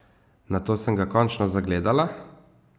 Nato sem ga končno zagledala!